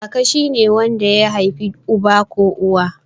Kaka shine wanda ya haifi uba ko uwa.